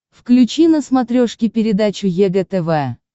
включи на смотрешке передачу егэ тв